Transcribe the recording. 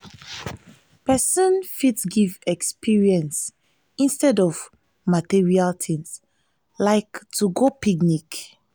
persin fit gift experience instead of material things like to go picnic